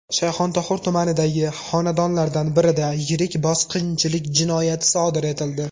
Shayxontohur tumanidagi xonadonlardan birida yirik bosqinchilik jinoyati sodir etildi.